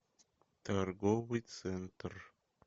торговый центр